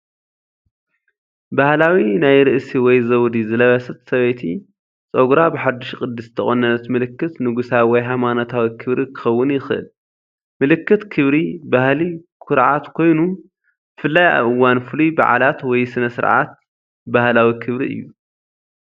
ባህላዊ ናይ ርእሲ ወይ ዘውዲ ዝለበሰት ሰበይቲ። ፀጉራ ብሓዱሽ ቅዲ ዝተቖነነት ምልክት ንጉሳዊ ወይ ሃይማኖታዊ ክብሪ ክኸውን ይኽእል። ምልክት ክብሪ፡ ባህሊ፡ ኩርዓት ኮይኑ፡ ብፍላይ ኣብ እዋን ፍሉይ በዓላት ወይ ስነ-ስርዓት ባህላዊ ክብሪ እዩ።